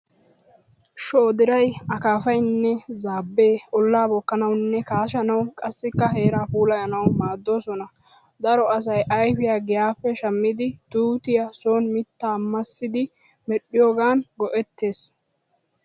Shoodiray, akaafaynne zaabbee ollaa bookkanawunne kaashanawu qassikka heeraa puulayanawu maaddoosona. Daro asay ayfiyaa giyaappe shammidi tuutiyaa soon mittaa massidi medhdhiyoogan go"ettees.